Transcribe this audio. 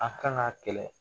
A kan k'a kɛlɛ